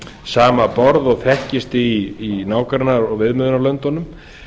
sama borð og þekkist í nágranna og viðmiðunarlöndunum